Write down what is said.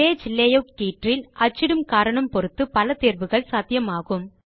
page layout கீற்றில் அச்சிடும் காரணம் பொருத்து பல தேர்வுகள் சாத்தியமாகும்